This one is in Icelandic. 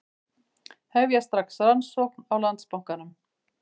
Hefja strax rannsókn á Landsbankanum